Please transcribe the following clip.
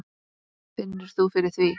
Finnur þú fyrir því?